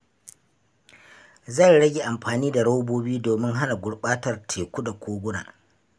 Zan rage amfani da robobi domin hana gurɓatar teku da koguna.